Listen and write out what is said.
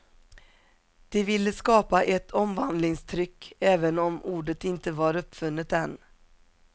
De ville skapa ett omvandlingstryck, även om ordet inte var uppfunnet än.